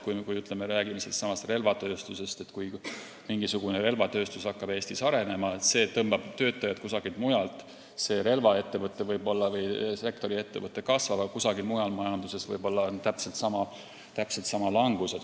Kui me räägime sellest, et näiteks mingisugune relvatööstus hakkab Eestis arenema ja tõmbab töötajaid kusagilt mujalt, siis selle sektori ettevõte, relvaettevõte võib küll kasvada, aga kusagil mujal majanduses on täpselt samaväärne langus.